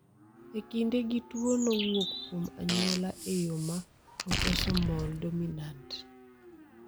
E kinde gi tuo no wuok kuom anyuola e yo ma autosomal dominant